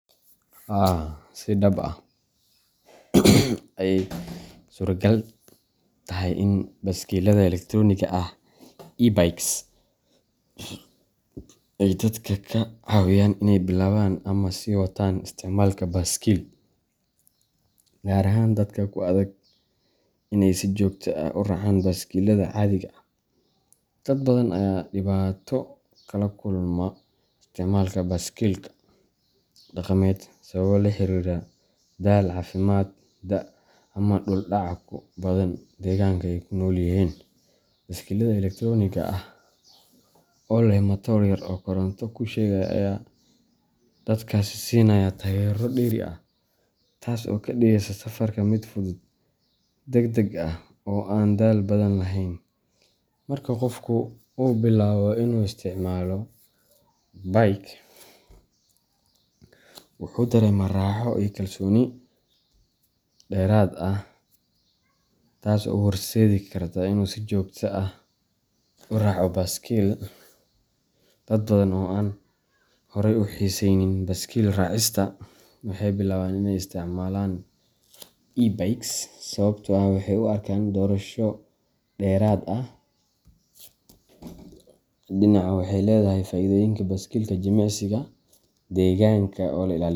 Haa, si dhab ah ayey u suuragal tahay in baaskiillada elektaroonigga ah e-bikes ay dadka ka caawiyaan inay bilaabaan ama sii wataan isticmaalka baaskiil, gaar ahaan dadka ku adag in ay si joogto ah u raacaan baaskiillada caadiga ah. Dad badan ayaa dhibaato kala kulma isticmaalka baaskiilka dhaqameed sababo la xiriira daal, caafimaad, da’, ama dhul dhaca ku badan deegaanka ay ku nool yihiin. Baaskiillada elektaroonigga ah oo leh matoor yar oo koronto ku shaqeeya ayaa dadkaasi siinaya taageero dheeri ah, taas oo ka dhigaysa safarka mid fudud, degdeg ah, oo aan daal badan lahayn. Marka qofku uu bilaabo inuu isticmaalo bike, wuxuu dareemaa raaxo iyo kalsooni dheeraad ah, taas oo u horseedi karta inuu si joogto ah u raaco baaskiil. Dad badan oo aan horay u xiisaynin baaskiil raacista waxay bilaabaan in ay isticmaalaan e-bikes sababtoo ah waxay u arkaan doorasho dhexdhexaad ah: dhinac waxay leedahay faa’iidooyinka baaskiilka jimicsiga, deegaanka oo la ilaaliyo.